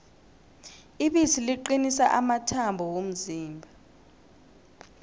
ibisi liqinisa amathambo womzimba